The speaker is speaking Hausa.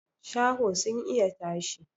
Shaho sun iya tashi